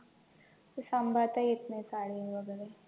ते सांभाळता येतं नाही साडी वैगरे